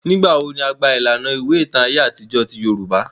Nigbawo ni a gba ilana iwe itan aye atijọ ti Yorùbá?